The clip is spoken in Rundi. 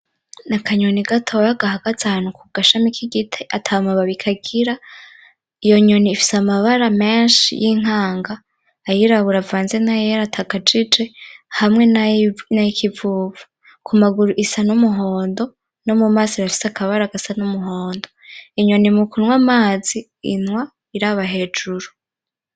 N'akanyoni gatonya gahaze ahantu ku gashami k'igiti atamababi kagira, iyo nyoni ifise amabara menshi y'inkanga, ayirabura anze n'ayera atakajije hamwe n'ay'ikivuvu. Ku maguru isa n'umuhondo no mu maso irafise akabara gasa n'umuhondo. Inyoni mu kunwa amazi, inwa iraba hejuru.